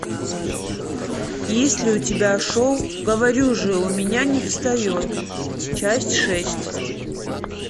есть ли у тебя шоу говорю же у меня не встает часть шесть